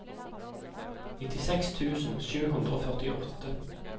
nittiseks tusen sju hundre og førtiåtte